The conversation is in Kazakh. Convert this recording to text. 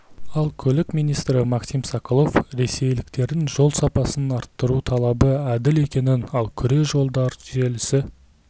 ал көлік министрі максим соколов ресейліктердің жол сапасын арттыру талабы әділ екенін ал күре жолдар желісі